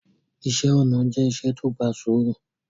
Ìṣẹ̀ onà jẹ̀ ìṣẹ̀ tó gbà súùrù